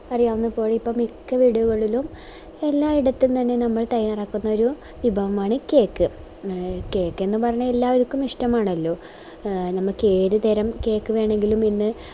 മിക്ക യിടങ്ങളിലും എല്ലായിടത്തും തന്നെ നമ്മൾ തയ്യാറാക്കുന്ന ഒര് വിഭവമാണ് cake എ cake എന്ന് പറഞ്ഞാ എല്ലാവർക്കും ഇഷ്ട്ടമാണല്ലോ എ നമുക്കേതുതരം cake വേണെങ്കിലും നമ്മള്